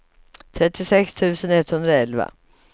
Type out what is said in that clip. trettiosex tusen etthundraelva